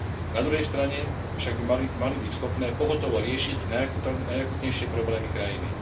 Na druhej strane však by mali byť schopné pohotovo riešiť najakútnejšie problémy krajiny.